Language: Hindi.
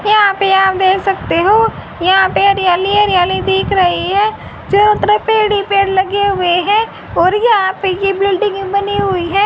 यहां पे आप देख सकते हो यहां पे हरियाली हरियाली दिख रही है चारों तरफ पेड़ ही पेड़ लगे हुए हैं और यहां पे यह बिल्डिंग बनी हुई है।